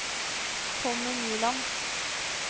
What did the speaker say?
Tommy Nyland